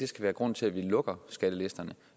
skal være grund til at vi lukker skattelisterne